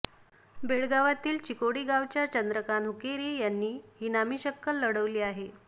बेळगावातील चिकोडी गावच्या चंद्रकांत हुक्केरी यांनी ही नामी शक्कल लढवली आहे